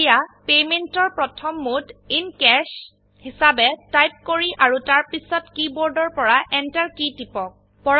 এতিয়া পেমেন্ট এৰ প্ৰথম মোড ইন কেশ হিসাবে টাইপ কৰি আৰু তাৰপিছতকীবোৰ্ডৰ পৰা এন্টাৰ কী টিপক